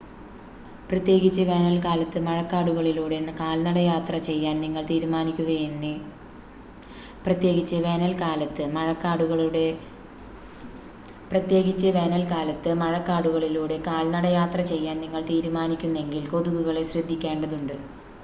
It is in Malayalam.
പ്രത്യേകിച്ച് വേനൽക്കാലത്ത് മഴക്കാടുകളിലൂടെ കാൽനടയാത്ര ചെയ്യാൻ നിങ്ങൾ തീരുമാനിക്കുന്നെങ്കിൽ കൊതുകുകളെ ശ്രദ്ധിക്കേണ്ടതുണ്ട്